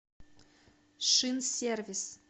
шинсервис